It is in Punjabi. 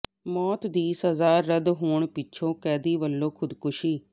ਮੌਤ ਦੀ ਸਜ਼ਾ ਰੱਦ ਹੋਣ ਪਿੱਛੋਂ ਕੈਦੀ ਵੱਲੋਂ ਖੁਦਕੁਸ਼ੀ